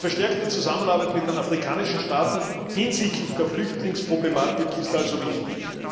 Eine verstärkte Zusammenarbeit mit den afrikanischen Staaten hinsichtlich der Flüchtlingsproblematik ist also wichtig.